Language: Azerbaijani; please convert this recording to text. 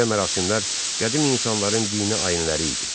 Belə mərasimlər qədim insanların dini ayinləri idi.